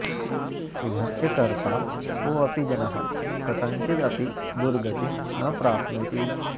शुभस्य कर्ता कोऽपि जनः कथञ्चिदपि दुर्गतिं न प्राप्नोति